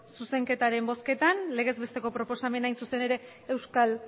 zuzenketaren bozketan legez besteko proposamena hain zuzen ere euskal